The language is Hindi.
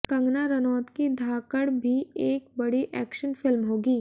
कंगना रनौत की धाकड़ भी एक बड़ी एक्शन फिल्म होगी